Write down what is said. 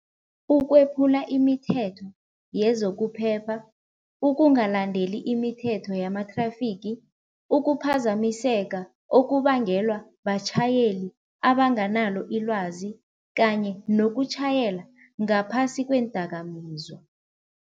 Ukwephula imithetho yezokuphepha, ukungalandeli imithetho yamathrafigi, ukuphazamiseka okubangelwa batjhayeli abanganalo ilwazi kanye nokutjhayela ngaphasi kweendakamizwa.